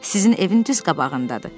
Sizin evin düz qabağındadır.